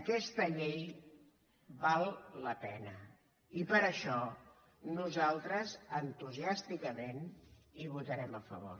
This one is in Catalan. aquesta llei val la pena i per això nosaltres entusiàsticament hi votarem a favor